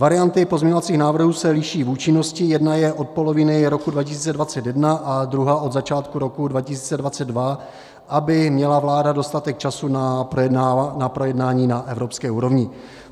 Varianty pozměňovacích návrhů se liší v účinnosti - jedna je od poloviny roku 2021 a druhá od začátku roku 2022, aby měla vláda dostatek času na projednání na evropské úrovni.